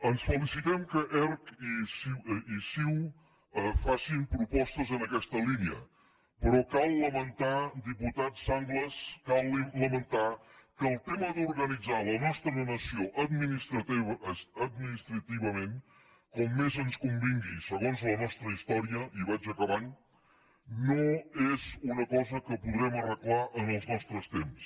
ens felicitem que erc i ciu facin propostes en aquesta línia però cal lamentar diputat sanglas cal lamentar que el tema d’organitzar la nostra nació administrativament com més ens convingui segons la nostra història i vaig acabant no és una cosa que podrem arreglar en els nostres temps